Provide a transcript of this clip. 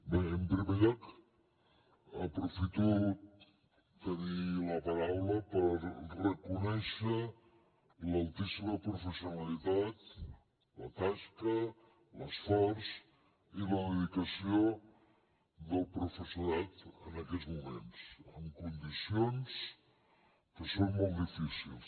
bé en primer lloc aprofito tenir la paraula per reconèixer l’altíssima professionalitat la tasca l’esforç i la dedicació del professorat en aquests moments en condicions que són molt difícils